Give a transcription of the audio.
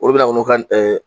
Olu bɛna k'u n'u ka n